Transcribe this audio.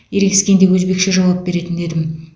ерегескенде өзбекше жауап беретін едім